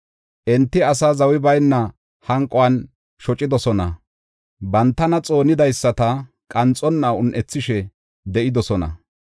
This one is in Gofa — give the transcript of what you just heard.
Enti asaa zawi bayna hanquwan shocidosona; bantana xoonidaysata qanxonna un7ethishe de7idosona.